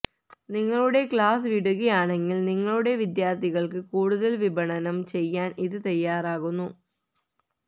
നിങ്ങളുടെ ക്ലാസ്സ് വിടുകയാണെങ്കിൽ നിങ്ങളുടെ വിദ്യാർത്ഥികൾക്ക് കൂടുതൽ വിപണനം ചെയ്യാൻ ഇത് തയ്യാറാകുന്നു